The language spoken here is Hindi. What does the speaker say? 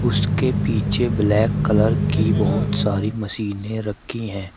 उसके पीछे ब्लैक कलर कि बहुत सारी मशीनें रखी हैं।